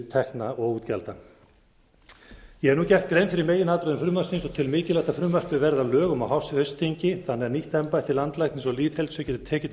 tekna og útgjalda ég hef nú gert grein fyrir meginatriðum frumvarpsins og tel mikilvægt að frumvarpið verði að lögum á haustþingi þannig að nýtt embætti landlæknis og lýðheilsu geti tekið